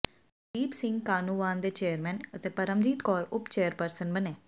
ਕੁਲਦੀਪ ਸਿੰਘ ਕਾਹਨੂੰਵਾਨ ਦੇ ਚੇਅਰਮੈਨ ਤੇ ਪਰਮਜੀਤ ਕੌਰ ਉਪ ਚੇਅਰਪਰਸਨ ਬਣੇ